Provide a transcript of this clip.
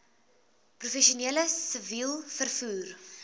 professioneel siviel vervoer